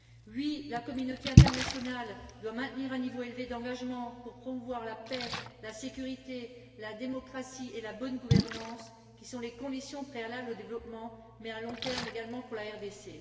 Oui, la communauté internationale doit maintenir un niveau élevé d'engagement pour promouvoir la paix, la sécurité, la démocratie et la bonne gouvernance, qui sont les conditions préalables au développement, mais à long terme également pour la RDC.